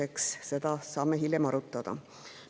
Eks seda saame hiljem arutada.